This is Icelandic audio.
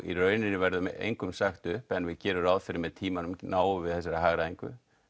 í raun verður engum sagt upp en við gerum ráð fyrir með tímanum náum við upp þessari hagræðingu